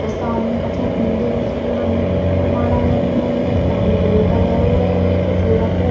और सामने कछु देवी जी के मंदिर के फूल माला लगी भई है। एक तांबा का लोटा धरो है। एक शिव रखो --